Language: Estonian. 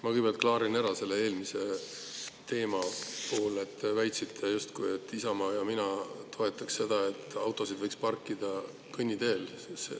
Ma kõigepealt klaarin ära, selle eelmise teema puhul te väitsite, justkui Isamaa ja mina toetaks seda, et autosid võiks parkida kõnniteel.